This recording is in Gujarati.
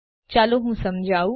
ચાલો હું સમજવું